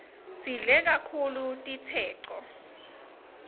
sidle kaktulu titseco